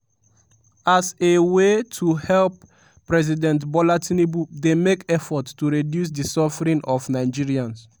as a way to help president bola tinubu dey make effort to reduce di suffering of nigerians.